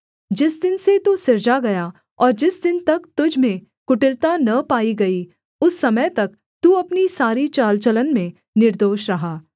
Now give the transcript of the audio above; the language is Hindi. जिस दिन से तू सिरजा गया और जिस दिन तक तुझ में कुटिलता न पाई गई उस समय तक तू अपनी सारी चाल चलन में निर्दोष रहा